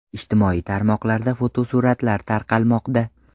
Ijtimoiy tarmoqlarda fotosuratlar tarqalmoqda.